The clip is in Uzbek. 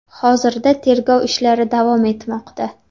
Hozirda tergov ishlari davom etmoqda.